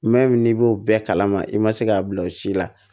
n'i b'o bɛɛ kalama i ma se k'a bila o si la